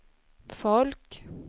folk